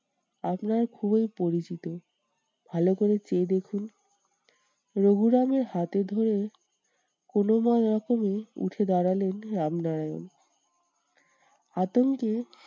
আপনার খুবই পরিচিত ভালো করে চেয়ে দেখুন। রঘুরামের হাতে ধরে কোনোরকমে উঠে দাঁড়ালেন রামনারায়ণ। আতঙ্কে